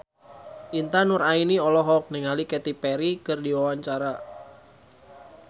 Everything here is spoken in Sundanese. Intan Nuraini olohok ningali Katy Perry keur diwawancara